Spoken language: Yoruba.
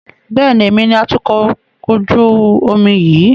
Bẹ́ẹ̀ni, èmi ni atukọ̀ ojú omi yìí